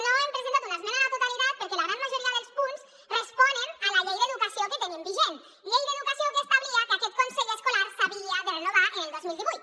no hem presentat una esmena a la totalitat perquè la gran majoria dels punts responen a la llei d’educació que tenim vigent llei d’educació que establia que aquest consell escolar s’havia de renovar el dos mil divuit